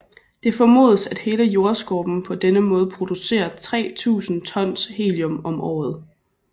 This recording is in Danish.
Det formodes at hele Jordskorpen på denne måde producerer 3000 tons helium om året